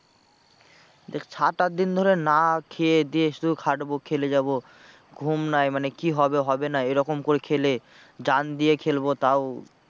দেখ সাত আট দিন ধরে না খেয়ে দেয়ে শুধু খাটবো খেলে যাবো ঘুম নাই মানে কি হবে? হবে না এরকম করে খেলে যান দিয়ে খেলবো তাও